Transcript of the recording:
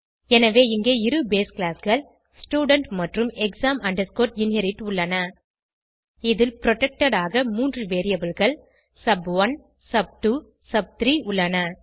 எனவே இங்கே இருbase கிளாஸ் கள் ஸ்டூடென்ட் மற்றும் exam inherit உள்ளன இதில் புரொடெக்டட் ஆக 3 variableகள் சப்1 சப்2 சப்3 உள்ளன